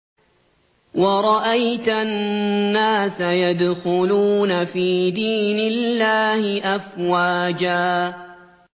وَرَأَيْتَ النَّاسَ يَدْخُلُونَ فِي دِينِ اللَّهِ أَفْوَاجًا